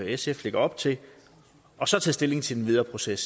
sf lægger op til og så tage stilling til den videre proces